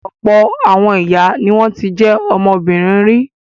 Ọ̀pọ̀ àwọn ìyá ni wọ́n ti jẹ́ ọmọbìnrin rí.